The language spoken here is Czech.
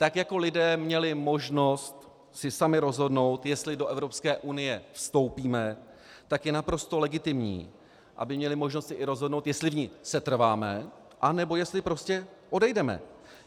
Tak jako lidé měli možnost si sami rozhodnout, jestli do Evropské unie vstoupíme, tak je naprosto legitimní, aby měli možnost si i rozhodnout, jestli v ní setrváme, anebo jestli prostě odejdeme.